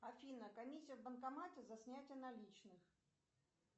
афина комиссия в банкомате за снятие наличных